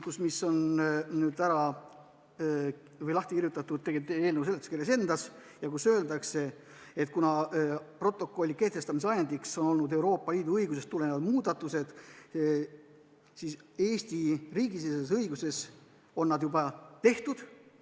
See on lahti kirjutatud eelnõu seletuskirjas, kus öeldakse, et kuna protokolli kehtestamise ajendiks on olnud Euroopa Liidu õigusest tulenevad muudatused, siis Eesti riigisiseses õiguses on need juba tehtud.